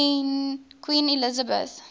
queen elizabeth